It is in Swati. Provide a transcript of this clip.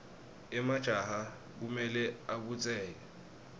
emajaha kumele abutseke